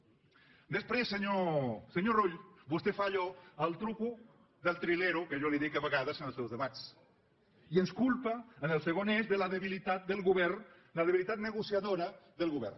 després senyor rull vostè fa allò el truc del trilero que jo li dic a vegades en els seus debats i ens culpa en el segon eix de la debilitat del govern la debilitat negociadora del govern